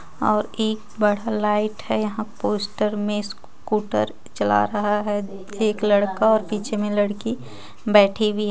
और एक बड़ा लाइट हे यहाँ पोस्टर मे स्कूटर चला रहा हे एक लड़का और पीछे मे लड़की बैठी हुई हे.